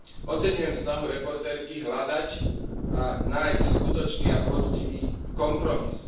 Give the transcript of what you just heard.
Oceňujem snahu spravodajkyne hľadať a nájsť skutočný a poctivý kompromis.